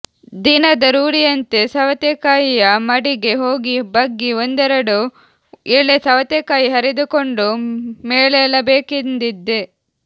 ದಿನದ ರೂಢಿಯಂತೆ ಸವತೆಕಾಯಿಯ ಮಡಿಗೆ ಹೋಗಿ ಬಗ್ಗಿ ಒಂದೆರಡು ಎಳೆ ಸವತೆಕಾಯಿ ಹರಿದುಕೊಂಡು ಮೇಲೇಳಬೇಕೆಂದಿದ್ದೆ